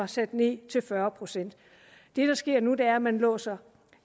sat ned til fyrre procent det der sker nu er at man låser